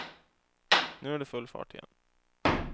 Nu är det full fart igen.